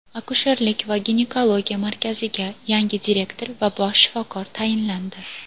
Akusherlik va ginekologiya markaziga yangi direktor va bosh shifokor tayinlandi.